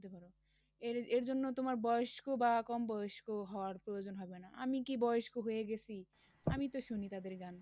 এর~ এর জন্য তোমার বয়স্ক বা কম বয়স্ক হওয়ার প্রয়োজন হবে না আমি কি বয়স্ক হয়ে গেছি, আমি তো শুনি তাদের গান,